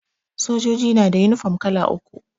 Sojoji na da yunifom kala uku